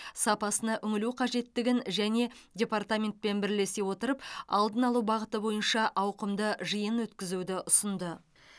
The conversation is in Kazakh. сапасына үңілу қажеттігін және департаментпен бірлесе отырып алдын алу бағыты бойынша ауқымды жиын өткізуді ұсынды